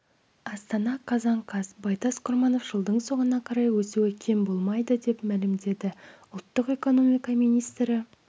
астана қазан қаз байтас құрманов жылдың соңына қарай өсуі кем болмайды деп мәлімдеді ұлттық экономика министрі